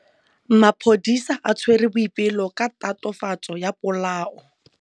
Maphodisa a tshwere Boipelo ka tatofatsô ya polaô.